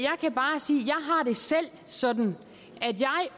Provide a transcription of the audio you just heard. selv har sådan